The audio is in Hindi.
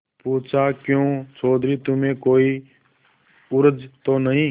पूछाक्यों चौधरी तुम्हें कोई उज्र तो नहीं